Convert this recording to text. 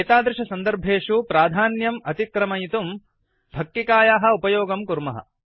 एतादृशसन्दर्भेषु प्राधान्यम् अतिक्रमयितुं फक्किकायाः उपयोगं कुर्मः